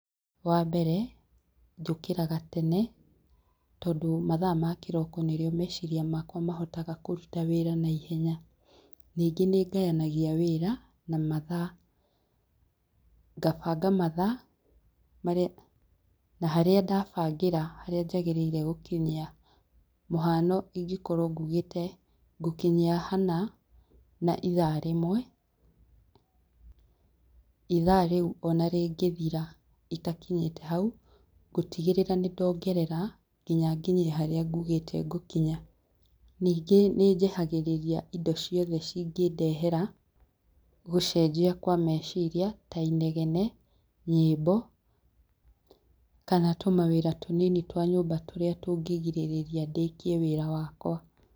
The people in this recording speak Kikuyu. Wa mbere, njũkĩraga tene, tondũ mathaa ma kĩroko nĩrĩo meciria makwa mahotaga kũruta wĩra naihenya. Ningĩ nĩ ngayanagia wĩra na mathaa, ngabanga mathaa, marĩa na harĩa ndabangĩra harĩa njagĩrĩire gũkinyia. Mũhano, ingĩkorwo nguugĩte ngũkinya hana, na ithaa rĩmwe, ithaa rĩu ona rĩngĩthira itakinyĩte hau, ngũtigĩrĩra nĩ ndongera, nginya nginye haria nguugĩte ngũkinya. Ningĩ nĩ njehagĩrĩria indo ciothe cingĩndehera gũcenjia kwa meciria ta inegene, nyĩmbo kana tũmawĩra tũnini twa nyũmba tũrĩa tũngĩgirĩrĩria ndĩkie wĩra.